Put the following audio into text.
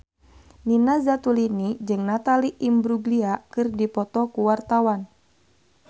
Nina Zatulini jeung Natalie Imbruglia keur dipoto ku wartawan